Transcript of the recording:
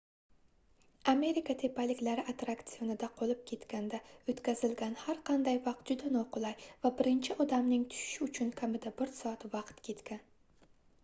amerika tepaliklari atrraksionida qolib ketganda oʻtkazilgan har qanday vaqt juda noqulay va birinchi odamning tushishi uchun kamida bir soat vaqt ketgan